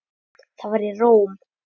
Það var í Róm.